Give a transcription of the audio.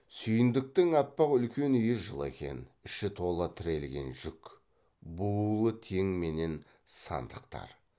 сүйіндіктің аппақ үлкен үйі жылы екен іші тола тірелген жүк буулы тең менен сандықтар